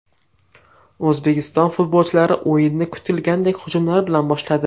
O‘zbekiston futbolchilari o‘yinni kutilganidek hujumlar bilan boshladi.